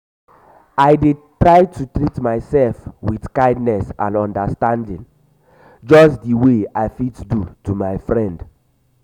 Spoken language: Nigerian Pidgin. i dey try to treat myself with kindness and understanding just di way i fit do to my friend.